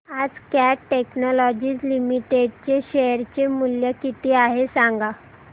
आज Cat Technologies Limited चे share चे मूल्य किती आहे सांगा